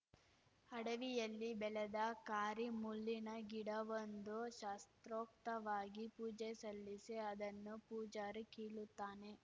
ಅಡವಿಯಲ್ಲಿ ಬೆಳೆದ ಕಾರಿ ಮುಳ್ಳಿನ ಗಿಡವೊಂದಕ್ಕೆ ಶಾಸೊತ್ರೕಕ್ತವಾಗಿ ಪೂಜೆ ಸಲ್ಲಿಸಿ ಅದನ್ನು ಪೂಜಾರಿ ಕೀಳುತ್ತಾನೆ